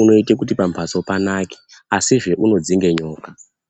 unoita kuti pamuzi panake asizve unodzinge nyoka.